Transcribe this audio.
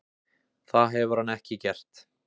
Það hefur hann ekki gert.